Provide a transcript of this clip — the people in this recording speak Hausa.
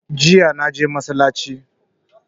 Jiya naje masallaci